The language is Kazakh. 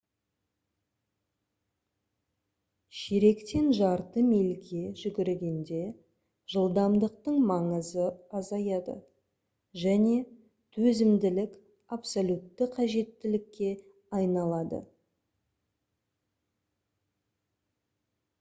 ширектен жарты мильге жүгіргенде жылдамдықтың маңызы азаяды және төзімділік абсолютті қажеттілікке айналады